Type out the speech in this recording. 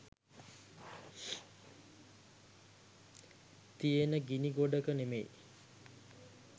තියෙන ගිණි ගොඩක නෙමෙයි